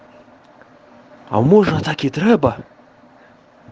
а может так и треба